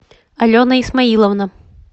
алена исмаиловна